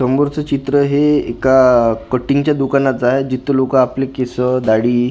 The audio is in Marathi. समोरचं चित्र हे एका कटिंगच्या दुकानाचं आहे जिथं लोकं आपले केसं दाढी--